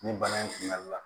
Nin bana in kunbɛli la